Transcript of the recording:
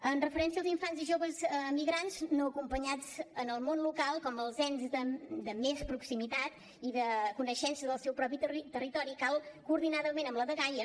en referència als infants i joves migrants no acompanyats en el món local com els ens de més proximitat i de coneixença del seu propi territori cal coordinadament amb la dgaia